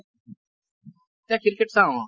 এতিয়া ক্ৰিকেট চাওঁ ।